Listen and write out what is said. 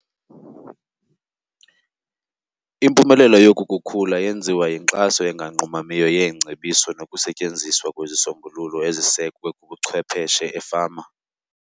Impumelelo yoku kukhula yenziwa yinkxaso enganqumamiyo yeengcebiso nokusetyenziswa kwezisombululo ezisekwe kubuchwepheshe efama.